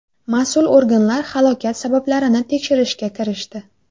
Mas’ul organlar halokat sabablarini tekshirishga kirishdi.